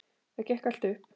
Það gekk allt upp.